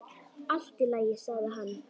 Allt í lagi, sagði hann.